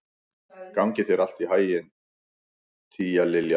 Gangi þér allt í haginn, Tíalilja.